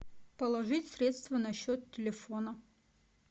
положить средства на счет телефона